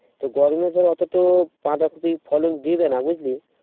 গরমে ধর অত তো বাঁধাকপির ফলন দিবে না বুঝলি